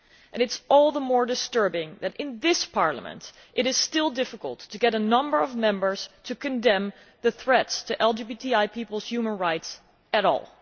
It is all the more disturbing that in this Parliament it is still difficult to get a number of Members to condemn the threats to LGBTI peoples' human rights at all.